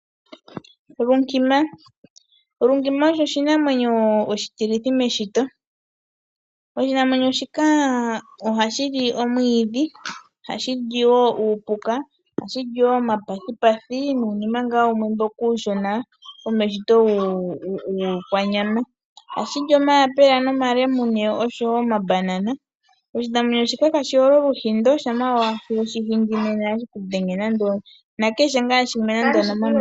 Oombaka nadho odhili iinamwenyo iiwanawa moku munwa . Oombaka odhili hashi gandja onyama kutse aantu ,odhili woo dhina ombiliha dho ihadhi pula iikulya oyindji nena omuntu oovu